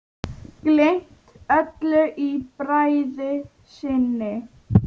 Gleymt öllu í bræði sinni.